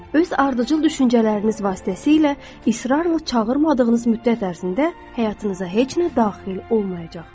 Öz ardıcıl düşüncələriniz vasitəsilə israrla çağırmadığınız müddət ərzində həyatınıza heç nə daxil olmayacaq.